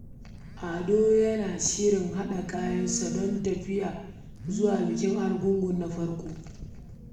Ado yana shirin haɗa kayan tafiya don zuwa bikin Argungu karo na farko.